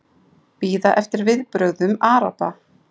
Bíða eftir viðbrögðum Araba